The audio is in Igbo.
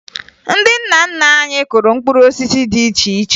Ndị nna nna anyị kụrụ mkpụrụ osisi dị iche iche